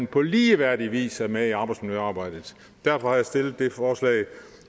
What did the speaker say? på ligeværdig vis er med i arbejdsmiljøarbejdet derfor har jeg stillet det forslag